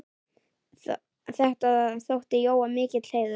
Þetta þótti Jóa mikill heiður.